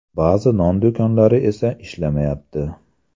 Ba’zi non do‘konlari esa ishlamayapti.